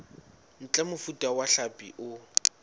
ntle mofuta wa hlapi o